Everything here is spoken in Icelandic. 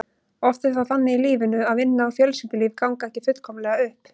Oft er það þannig í lífinu að vinna og fjölskyldulíf ganga ekki fullkomlega upp.